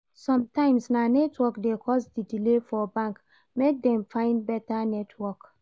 Sometimes na network dey cause di delay for bank, make dem find beta network.